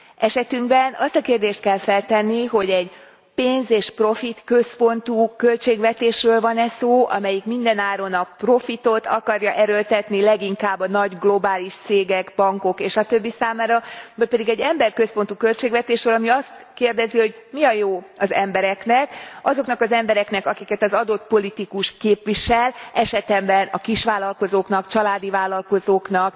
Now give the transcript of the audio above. Esetünkben azt a kérdést kell feltenni, hogy egy pénz és profitközpontú költségvetésről van e szó, amelyik minden áron a profitot akarja erőltetni leginkább a nagy globális cégek, bankok és a többi számára vagy pedig egy emberközpontú költségvetésről, ami azt kérdezi, hogy mi a jó az embereknek, azoknak az embereknek, akiket az adott politikus képvisel, esetemben a kisvállalkozóknak, családi vállalkozóknak,